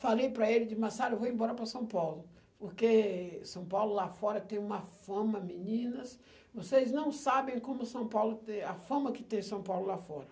Falei para ele de Massaro, eu vou embora para São Paulo, porque São Paulo lá fora tem uma fama, meninas, vocês não sabem como São Paulo tem, a fama que tem São Paulo lá fora.